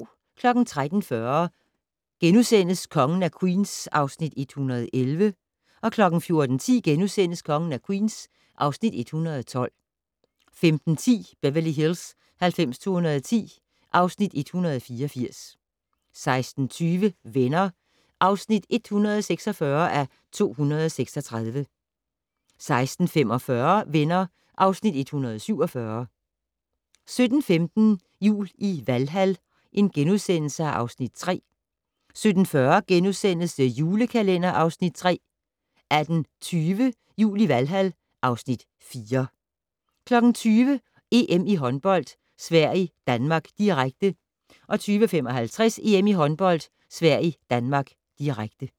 13:40: Kongen af Queens (Afs. 111)* 14:10: Kongen af Queens (Afs. 112)* 15:10: Beverly Hills 90210 (Afs. 184) 16:20: Venner (146:236) 16:45: Venner (Afs. 147) 17:15: Jul i Valhal (Afs. 3)* 17:40: The Julekalender (Afs. 3)* 18:20: Jul i Valhal (Afs. 4) 20:00: EM Håndbold: Sverige-Danmark, direkte 20:55: EM Håndbold: Sverige-Danmark, direkte